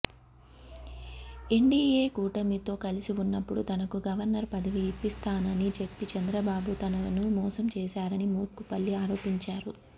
NDA కూటమితో కలిసి ఉన్నప్పుడు తనకు గవర్నర్ పదవి ఇప్పిస్తానని చెప్పి చంద్రబాబు తనను మోసం చేశారని మోత్కుపల్లి ఆరోపించారు